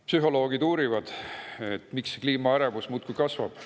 Psühholoogid uurivad, miks kliimaärevus muudkui kasvab.